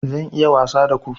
Zan yi wasa da ku